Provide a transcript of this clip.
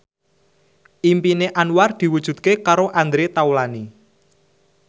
impine Anwar diwujudke karo Andre Taulany